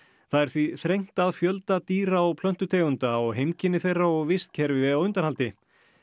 það er því þrengt að fjölda dýra og plöntutegunda og heimkynni þeirra og vistkerfi á undanhaldi